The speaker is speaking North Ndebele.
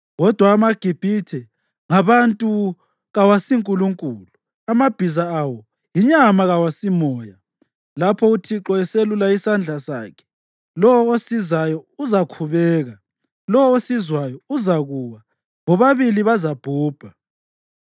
Kodwa amaGibhithe ngabantu kawasiNkulunkulu; amabhiza awo yinyama kawasimoya. Lapho uThixo eselula isandla sakhe, lowo osizayo uzakhubeka, lowo osizwayo uzakuwa, bobabili bazabhubha.